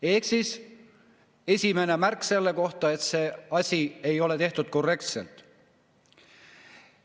Ehk siis esimene märk selle kohta, et see asi ei ole tehtud korrektselt.